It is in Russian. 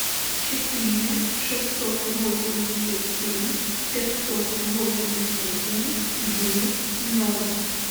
четыре шестьсот восемьдесят семь пятьсот восемьдесят семь девять ноль